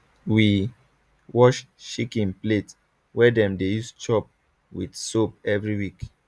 we wash chicken plate wey dem dey use chop with soap every week